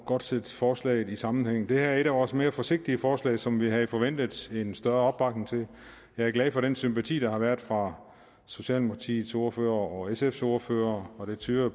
godt sætte forslaget ind i en sammenhæng det her er et af vores mere forsigtige forslag som vi havde forventet en større opbakning til jeg er glad for den sympati der har været fra socialdemokratiets ordfører og sfs ordfører og det tyder